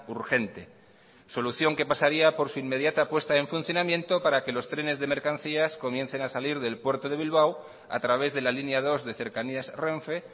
urgente solución que pasaría por su inmediata puesta en funcionamiento para que los trenes de mercancías comiencen a salir del puerto de bilbao a través de la línea dos de cercanías renfe